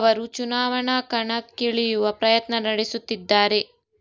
ಅವರೂ ಚುನಾವಣಾ ಕಣಕ್ಕಿಳಿಯುವ ಪ್ರಯತ್ನ ನಡೆಸುತ್ತಿದ್ದಾರೆ